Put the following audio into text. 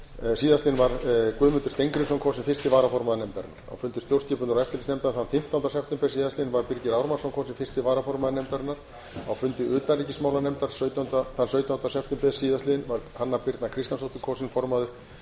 síðastliðinn var guðmundur steingrímsson kosinn fyrsti varaformaður nefndarinnar á fundi stjórnskipunar og eftirlitsnefndar þann fimmtánda september síðastliðinn var birgir ármannsson kosinn fyrsti varaformaður nefndarinnar á fundi utanríkismálanefndar þann sautjánda september síðastliðinn var hanna birna kristjánsdóttir kosin formaður